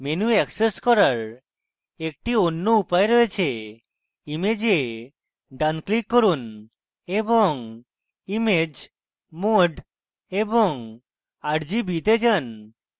menu access করার একটি অন্য উপায় রয়েছে image ডান click করুন এবং image mode এবং rgb তে যান